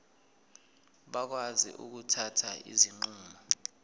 bakwazi ukuthatha izinqumo